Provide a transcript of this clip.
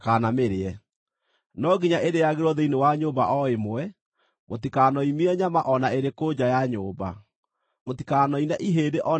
“No nginya ĩrĩĩagĩrwo thĩinĩ wa nyũmba o ĩmwe, mũtikanoimie nyama o na ĩrĩkũ nja ya nyũmba. Mũtikanoine ihĩndĩ o na rĩmwe rĩayo.